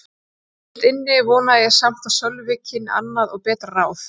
Innst inni vonaði ég samt að Sölvi kynni annað og betra ráð.